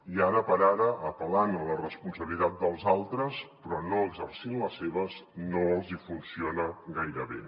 i ara per ara apel·lant a la responsabilitat dels altres però no exercint les seves no els hi funciona gaire bé